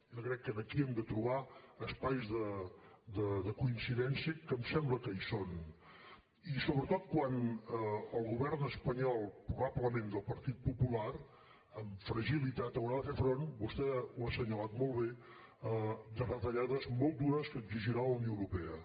jo crec que aquí hem de trobar espais de coincidència que em sembla que hi són i sobretot quan el govern espanyol probablement del partit popular amb fragilitat haurà de fer front vostè ho ha assenyalat molt bé a retallades molt dures que exigirà la unió europea